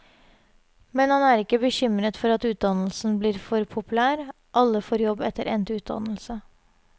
Men han er ikke bekymret for at utdannelsen blir for populær, alle får jobb etter endt utdannelse.